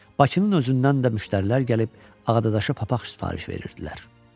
Bakının özündən də müştərilər gəlib Ağadaşa papaq sifariş verirdilər.